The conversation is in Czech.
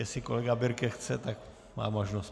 Jestli kolega Birke chce, tak má možnost.